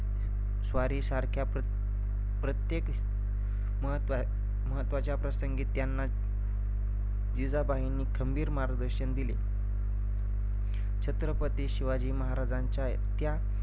स्वारीसारख्या परत~ प्रत्येक महत्त्व~ महत्वाच्या प्रसंगी त्यांना जिजाबाईंनी खंबीर मार्गदर्शन दिले शिवाजीमहाराजांच्या त्या